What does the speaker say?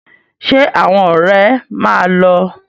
Ṣé àwọn ọ̀rẹ́ máa lọ?